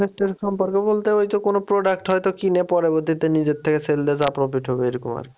invest এর সম্পর্কে বলতে ওই তো কোনো product হয়তো কিনে পরবর্তীতে নিজের থেকে sell দিয়ে যা profit হবে এরকম আরকি।